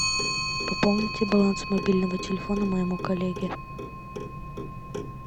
пополните баланс мобильного телефона моему коллеге